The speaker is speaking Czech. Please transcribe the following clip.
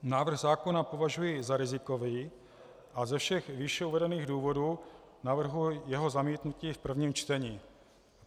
Návrh zákona považuji za rizikový a ze všech výše uvedených důvodů navrhuji jeho zamítnutí v prvním čtení.